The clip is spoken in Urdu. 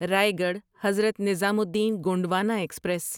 رایگڑھ حضرت نظامالدین گونڈوانا ایکسپریس